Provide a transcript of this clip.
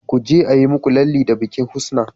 kuje ayi muku lalle da bikin husna